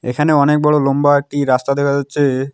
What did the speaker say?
এখানে অনেক বড় লম্বা একটি রাস্তা দেখা যাচ্ছে।